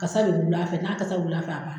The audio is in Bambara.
Kasa de bɛ wuli a fɛ, n'a kasa wila fɛ a bana.